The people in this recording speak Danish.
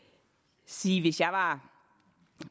sige at hvis jeg var